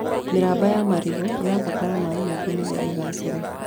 Mĩramba ya marigũ ĩbataraga maĩ maingĩ nĩguo ĩgaacĩre.